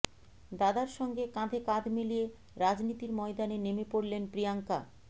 দাদার সঙ্গে কাঁধে কাঁধ মিলিয়ে রাজনীতির ময়দানে নেমে পড়লেন প্রিয়াঙ্কা